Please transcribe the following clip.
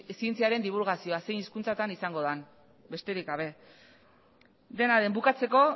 zientziaren dibulgazioa zein hizkuntzatan izango den besterik gabe dena den bukatzeko